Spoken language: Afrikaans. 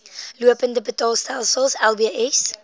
lopende betaalstelsel lbs